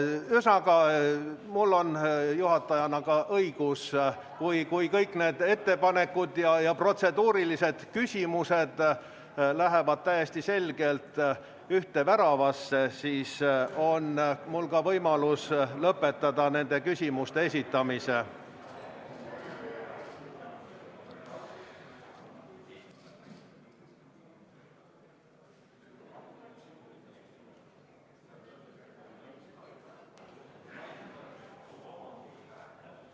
Ühesõnaga, mul on juhatajana ka õigus, kui kõik need ettepanekud ja protseduurilised küsimused lähevad täiesti selgelt ühte väravasse, siis on mul võimalus lõpetada nende küsimuste esitamine.